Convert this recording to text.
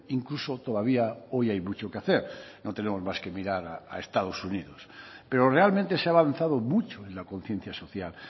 incluso todavía hoy hay mucho que hacer no tenemos más que mirar a estados unidos pero realmente se ha avanzado mucho en la conciencia social